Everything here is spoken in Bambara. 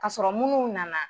Ka sɔrɔ munnu nana.